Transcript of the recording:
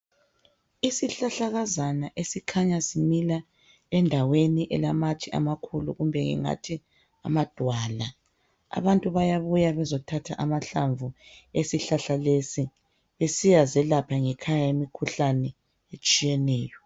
Isihlahlakazana esikhanya simila endaweni elamatshe amakhulu. Kumbe ngingathi amadwala. Abantu bayabuya bezothatha amahlamvu esihlahla lesi. Besiyazelapha ngekhaya, imikhuhlane etshiyeneyo.